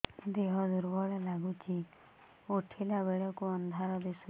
ଦେହ ଦୁର୍ବଳ ଲାଗୁଛି ଉଠିଲା ବେଳକୁ ଅନ୍ଧାର ଦିଶୁଚି